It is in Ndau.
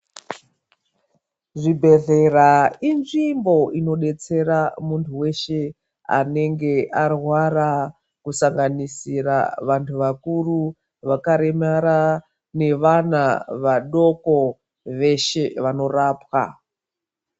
Zvibhehlera inzvimbo inobetsera muntu weshe anenge arwara kusanganisira vantu vakuru, vakaremara nevana vadoko veshe vanorapwa.